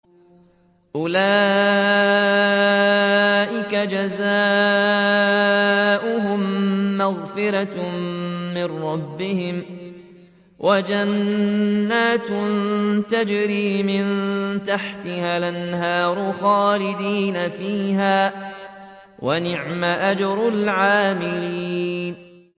أُولَٰئِكَ جَزَاؤُهُم مَّغْفِرَةٌ مِّن رَّبِّهِمْ وَجَنَّاتٌ تَجْرِي مِن تَحْتِهَا الْأَنْهَارُ خَالِدِينَ فِيهَا ۚ وَنِعْمَ أَجْرُ الْعَامِلِينَ